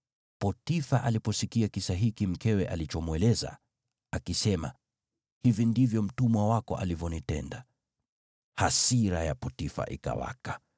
Potifa aliposikia kisa hiki mkewe alichomweleza, akisema, “Hivi ndivyo mtumwa wako alivyonitenda.” Hasira ya Potifa ikawaka.